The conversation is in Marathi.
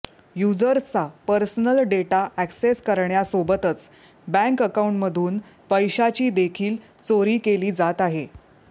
युजर्सचा पर्सनल डेटा अॅक्सिस करण्यासोबतच बँक अकाऊंटमधून पैशाची देखील चोरी केली जात आहे